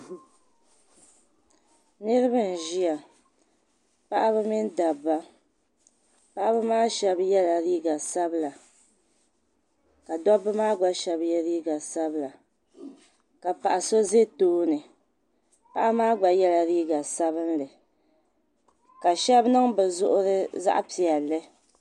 Niraba n ʒiya paɣaba mini dabba paɣaba maa shab yɛla liiga sabila ka dabba maa gba shab yɛ liiga sabila ka paɣa so ʒɛ tooni paɣa maa gba yɛla liiga sabinli ka shab niŋ bi zuɣuri zaɣ piɛlli